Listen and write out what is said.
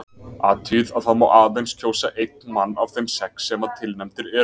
Athugið að það má aðeins kjósa einn mann af þeim sex sem að tilnefndir eru.